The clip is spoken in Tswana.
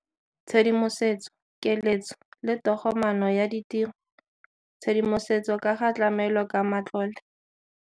Tshedimosetso, keletso le togomaano ya ditiro kgotsa tshedimosetso ka ga tlamelo ka matlole.